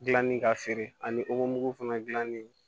Gilanni ka feere ani fana gilanni